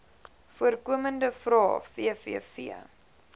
voorkomende vrae vvv